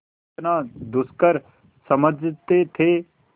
जितना दुष्कर समझते थे